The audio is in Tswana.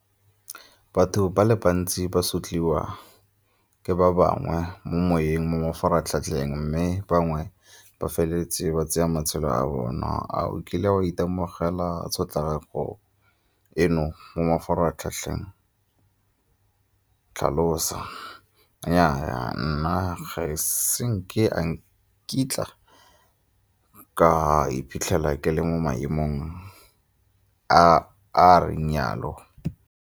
Batho ba le bantsi ba sotlwiwa ke ba bangwe mo moweng mo mafaratlhatlheng mme bangwe ba feleletsa ba tsaya matshelo a bona. A o kile wa itemogela tshotlakako eno mo mafaratlhatlheng tlhalosa? Nnyaa, nna ga e se nke a nkitla ka iphitlhela ke le mo maemong a a reng yalo.